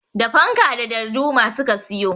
Da fanka da darduma su ka siyo.